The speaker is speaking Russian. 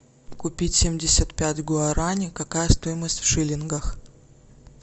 купить семьдесят пять гуарани какая стоимость в шиллингах